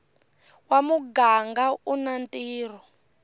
wa muganga u na ntirho